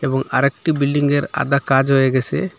এবং আরেকটি বিল্ডিংয়ের আদা কাজ হয়ে গেসে।